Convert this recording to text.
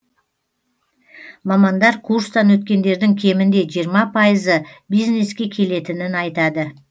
мамандар курстан өткендердің кемінде жиырма пайызы бизнеске келетінін айтады